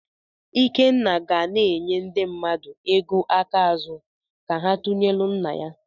Ikenna ga na-enye ndị mmadụ ego aka ázú ka ha tụnyelụ nna ya.